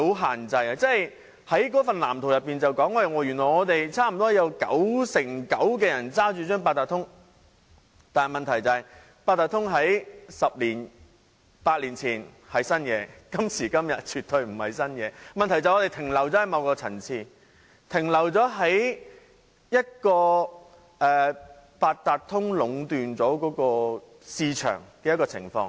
《香港智慧城市藍圖》指出原來香港有九成九的人擁有八達通，但問題是，八達通在十年八載前是新事物，但在今時今日絕對不是新鮮事物，問題便是我們停留在某個層次，停留在由八達通壟斷市場的情況。